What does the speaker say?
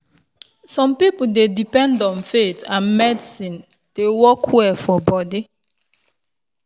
some people dey depend on faith and medicine dey well for body.